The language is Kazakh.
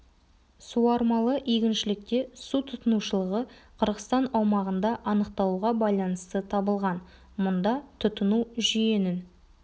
суармалы егіншілікте су тұтынушылығы қырғызстан аумағында анықталуға байланысты табылған мұнда тұтыну жүйенің